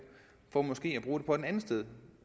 for måske at bruge pengene et andet sted